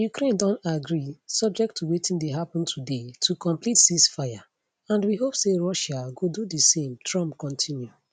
ukraine don agree subject to wetin dey happun today to complete ceasefire and we hope say russia go do di same trump continue